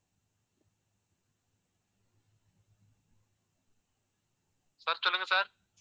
sir சொல்லுங்க sir